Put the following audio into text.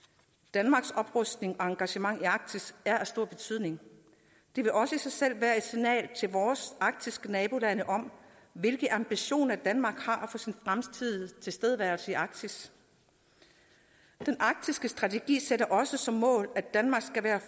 danmarks oprustning og engagement i arktis er af stor betydning det vil også i sig selv være et signal til vores arktiske nabolande om hvilke ambitioner danmark har for sin fremtidige tilstedeværelse i arktis den arktiske strategi sætter også som mål at danmark skal være